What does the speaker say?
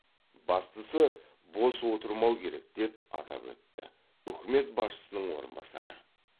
бастысы бос отырмау керек деп атап өтті үкімет басшысының орынбасары